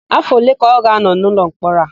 Áfọ̀ ole ka ọ ga-ánọ̀ n'ụlọmkpọrọ a?